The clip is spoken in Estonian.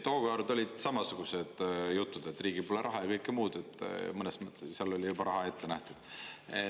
Tookord olid samasugused jutud, et riigil pole raha ja kõike muud, seal oli juba raha ette nähtud.